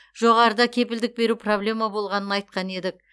жоғарыда кепілдік беру проблема болғанын айтқан едік